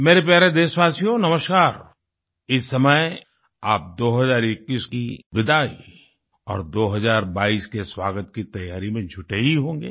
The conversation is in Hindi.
मेरे प्यारे देशवासियो नमस्कार इस समय आप 2021 की विदाई और 2022 के स्वागत की तैयारी में जुटे ही होंगे